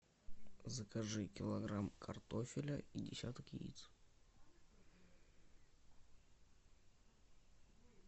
закажи килограмм картофеля и десяток яиц